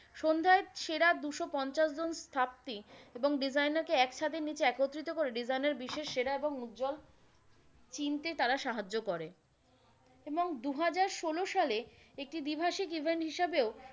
সন্ধ্যায় সেরা দুশো পঞ্চাশ জন স্থাপতি এবং designer কে এক ছাদের নিচে একত্রিত করে design এর বিশেষ সেরা এবং উজ্জল চিনতে তারা সাহায্য় করে এবং দুহাজার ষোলো সালে একটি দ্বিভাষিক event হিসাবেও,